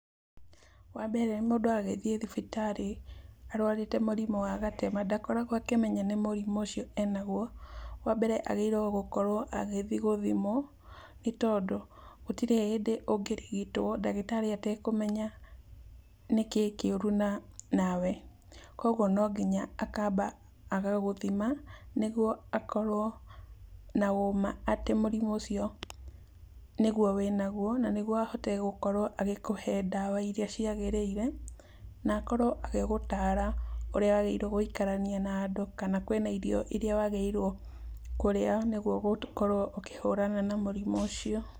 Wa mbere mũndũ agĩthiĩ thibitarĩ arwarĩte mũrimũ wa gatema, ndakoragwo akĩmenya nĩ mũrimũ ũcio enagwo. Wa mbere agĩrĩirwo gũkorwo agĩthiĩ gũthimwo, nĩ tondũ gũtirĩ hĩndĩ ũngĩrigitwo ndagĩtarĩ atekũmenya nĩkĩ kĩũru na nawe, koguo no nginya akamba agagũthima, nĩguo akorwo na ũma atĩ mũrimũ ũcio nĩguo wĩnaguo, na nĩguo ahote gũkorwo agĩkũhe ndawa iria ciagĩrĩire, na akorwo agĩgũtara ũrĩa wagĩrĩirwo gwĩikarania nandũ, kana kwĩna irio iria wagĩrĩirwo kũrĩa nĩguo gũkorwo ũkĩhũrana na mũrimũ ũcio.